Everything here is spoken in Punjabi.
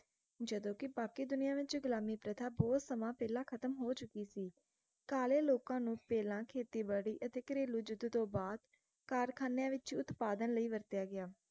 ਜਦੋ ਕਿ ਬਾਕੀ ਦੁਨੀਆਂ ਵਿੱਚ ਗੁਲਾਮੀ ਪ੍ਰਥਾ ਬਹੁਤ ਸਮਾਂ ਪਹਿਲਾਂ ਖ਼ਤਮ ਹੋ ਚੁਕੀ ਸੀ ਕਾਲੇ ਲੋਕਾਂ ਨੂੰ ਪਹਿਲਾਂ ਖੇਤੀ ਬਾੜੀ ਅਤੇ ਘਰੇਲ਼ੂ ਯੁੱਧ ਤੋਂ ਬਾਅਦ ਕਾਰਖਾਨਿਆਂ ਵਿਚ ਉਤਪਾਦਨ ਲਯੀ ਵਰਤਿਆ ਗਿਆ